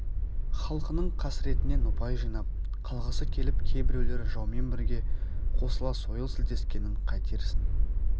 халқының қасыретінен ұпай жинап қалғысы келіп кейбіреулер жаумен бірге қосыла сойыл сілтескенін қайтерсің